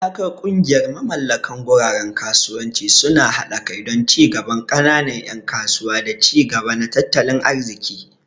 Hadakar kungiyar mamallakan guraren kasuwanci suna hada kai don ci gaban kananan yan kasuwa da ci gaba na tattalin arziki.